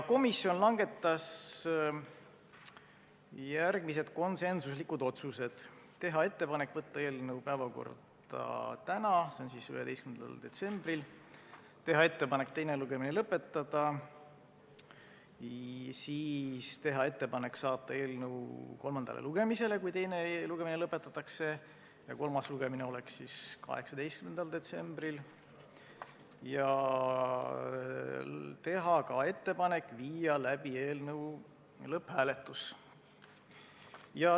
Komisjon langetas järgmised konsensuslikud otsused: teha ettepanek saata eelnõu päevakorda tänaseks, s.o 11. detsembriks; teha ettepanek teine lugemine lõpetada; teha ettepanek saata eelnõu kolmandale lugemisele, kui teine lugemine lõpetatakse, ja kolmas lugemine oleks 18. detsembril; teha ka ettepanek panna eelnõu lõpphääletusele.